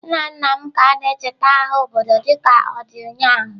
Nna nna m ka na-echeta agha obodo dịka ọ dị ụnyahụ.